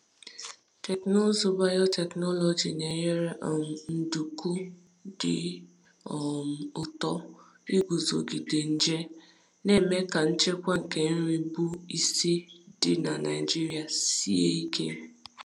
Teknụzụ biotechnology na-enyere um nduku dị um ụtọ iguzogide nje, na-eme ka nchekwa nke nri bụ isi dị na Naijiria sie ike.